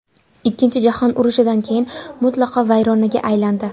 Ikkinchi jahon urushidan keyin mutlaqo vayronaga aylandi.